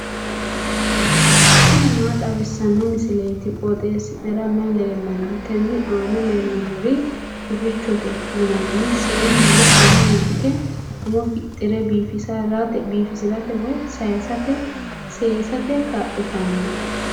tini maa xawissanno misileeti? qooxeessisera may leellanno? tenne aana leellannori hufichote yinanni seennu woy amuwinke umo fixxire biifisirate woy seesate kaa'litanno.